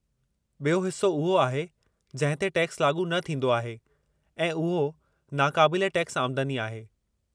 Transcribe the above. ॿियो हिस्सो उहो आहे जंहिं ते टैक्सु लाॻू न थींदो आहे ऐं उहो नाक़ाबिलु टैक्स आमदनी आहे।